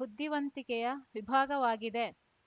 ಬುದ್ಧಿವಂತಿಕೆಯ ವಿಭಾಗವಾಗಿದೆ